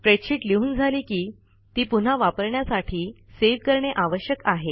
spreadsheet लिहून झाली की ती पुन्हा वापरण्यासाठी सेव्ह करणे आवश्यक आहे